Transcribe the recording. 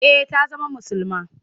Eh ta zama musulma.